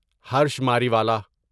Harsh Mariwala